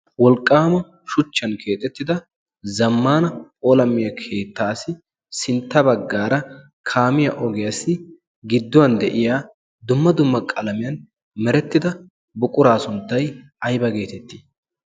wolqqaama shuchchan keexettida zammana olamiyaa keettaassi sintta baggaara kaamiya ogiyaassi gidduwan de7iya dumma dumma qalamiyan merettida buquraa sunttay aybba geetettii?